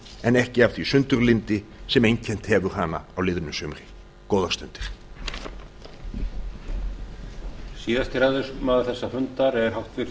en ekki af því sundurlyndi sem einkennt hefur hana á liðnu sumri góðar stundir